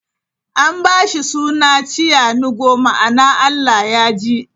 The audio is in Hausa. An ba shi suna 'Chianugo' ma'ana 'Allah ya ji'.